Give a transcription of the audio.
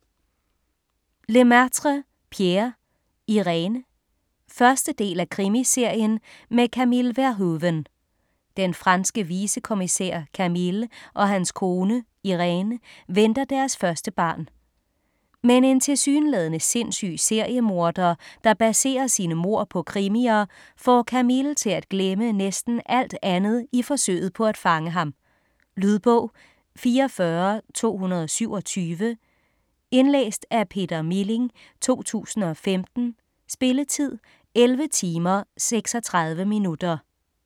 Lemaitre, Pierre: Irène 1. del af Krimiserien med Camille Verhoeven. Den franske vicekommissær Camille og hans kone, Iréne, venter deres første barn. Men en tilsyneladende sindssyg seriemorder, der baserer sine mord på krimier, får Camille til at glemme næsten alt andet i forsøget på at fange ham. Lydbog 44227 Indlæst af Peter Milling, 2015. Spilletid: 11 timer, 36 minutter.